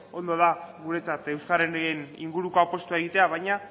ondo da guretzat euskararen inguruko apustua egitea baina